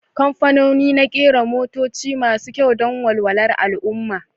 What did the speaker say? Kamfanoni na kera motoci masu kyau don walwalar al'ummah